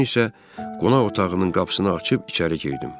Mən isə qonaq otağının qapısını açıb içəri girdim.